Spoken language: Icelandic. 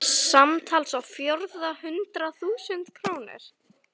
Samtals á fjórða hundrað þúsund krónur.